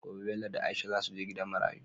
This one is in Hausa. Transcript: Gobe Bello da aisha zasu je gidan marayu